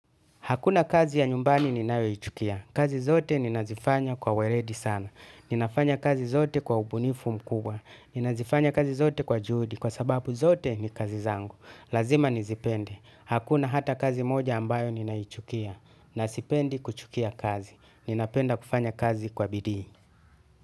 Hakuna kazi ya nyumbani ninayoichukia. Kazi zote ninazifanya kwa weledi sana. Ninafanya kazi zote kwa ubunifu mkubwa. Ninazifanya kazi zote kwa juhudi kwa sababu zote ni kazi zangu. Lazima nizipende. Hakuna hata kazi moja ambayo ninaichukia. Na sipendi kuchukia kazi. Ninapenda kufanya kazi kwa bidii.